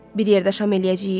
Bir yerdə şam eləyəcəyik?